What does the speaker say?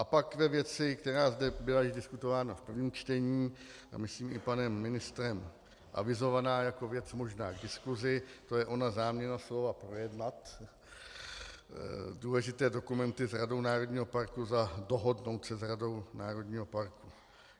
A pak ve věci, která zde byla již diskutována v prvním čtení a myslím i panem ministrem avizovaná jako věc možná k diskusi, to je ona záměna slova "projednat" důležité dokumenty s radou národního parku, za "dohodnout se" s radou národního parku.